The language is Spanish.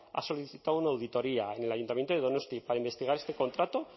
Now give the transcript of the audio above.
ha solicitado una auditoría en el ayuntamiento de donosti para investigar este contrato